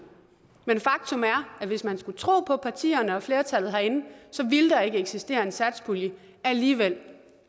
men faktum er at hvis man skulle tro på partierne og flertallet herinde så ville der ikke eksistere en satspulje alligevel